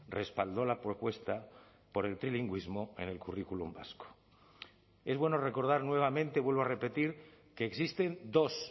respaldó la propuesta por el trilingüismo en el currículum vasco es bueno recordar nuevamente vuelvo a repetir que existen dos